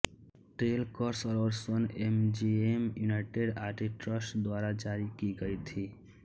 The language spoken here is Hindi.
ट्रेल कर्स और सन एमजीएमयूनाइटेड आर्टिस्ट्स द्वारा जारी की गयी थीं